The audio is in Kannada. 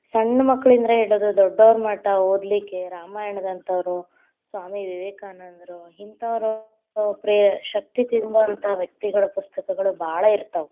ಸಣ್ಣ ಮಕ್ಕಳಿಂದ್ರ ಹಿಡಿದು ದೊಡ್ಡೊರಮಠ ಓದಲಿಕ್ಕೆ, ರಾಮಾಯಣದಂಥೊರು, ಸ್ವಾಮಿ ವಿವೇಕಾನಂದ್ರು ಹಿಂಥವ್ರು, ಒಂದ್‌ ಪ್ರೇರ ಶಕ್ತಿ ತುಂಬುವಂತಹ ವ್ಯಕ್ತಿಗಳ ಪುಸ್ತಕಗಳು ಭಾಳ ಇತಾ೯ವ್.‌